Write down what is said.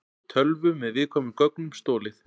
Tölvu með viðkvæmum gögnum stolið